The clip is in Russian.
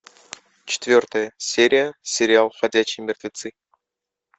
четвертая серия сериал ходячие мертвецы